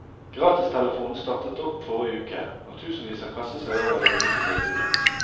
Gratistelefonen startet opp forrige uke, og tusenvis har kastet seg over det unike tilbudet.